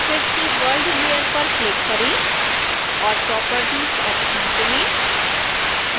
फिर से world layer पर क्लिक करें और properties ऑप्शन चुनें